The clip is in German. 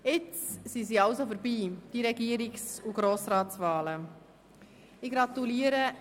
Jetzt sind also die Regierungs- und Grossratswahlen vorbei.